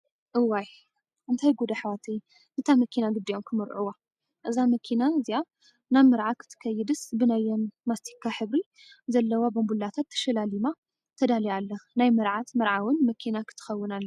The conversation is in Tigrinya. እዋይ ! እንታይ ጉዳ ኣሕዋተይ ንታ መኪና ግዲእዮም ከመርዕውዋ! እዛ መኪና እዚኣ ናብ መርዓ ክትከይስ ብናየ መስቲካ ሕብሪ ዘለዋ ባንቡላት ተሸላሊማ ተዳልያ ኣላ። ናይ መርዓት መርዓውን መኪና ክትከውን ኣለዋ።